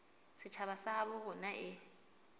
setjhaba sa habo rona e